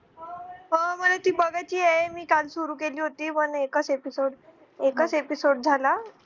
हा मला ती बघायचीए मी काल सुरु केली होती one एकच episode एकच episode झाला